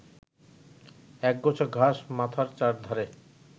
একগোছা ঘাস মাথার চারধারে